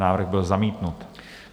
Návrh byl zamítnut.